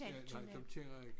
Ja nej dem kender jeg ikke